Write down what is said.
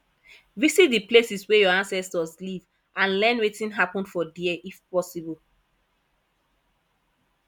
visit the places wey your ancestors live and learn wetin happen for there if possible